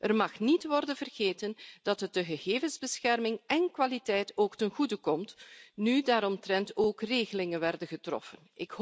Er mag niet worden vergeten dat het de gegevensbescherming en kwaliteit ook ten goede komt nu daaromtrent ook regelingen werden getroffen.